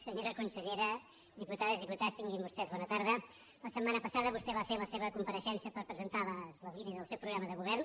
senyora consellera diputades diputats tinguin vostès bona tarda la setmana passada vostè va fer la seva compareixença per presentar les línies del seu programa de govern